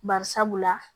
Bari sabula